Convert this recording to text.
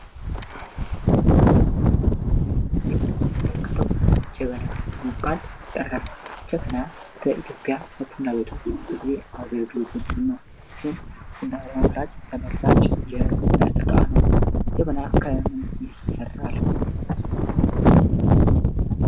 በምስሉ ላይ የምንመለከተው ጀበና በመባል የሚጠራው ጀበና በኢትዮጵያ ለቡና ቤቶች ብዙውን ጊዜ አገልግሎት የሚውል እና ቡና ለማፍላት ተመራጭ እቃ ነው። ጀበና ከምን ይሰራል?